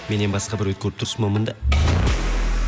менен басқа біреуді көріп тұрсың ба мында